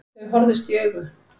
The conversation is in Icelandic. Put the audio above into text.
Þau horfðust í augu.